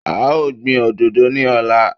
A ó gbin òdodo ní ọ̀la.